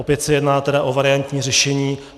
Opět se tedy jedná o variantní řešení.